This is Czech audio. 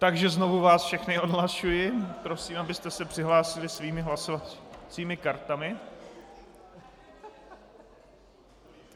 Takže znovu vás všechny odhlašuji, prosím, abyste se přihlásili svými hlasovacími kartami.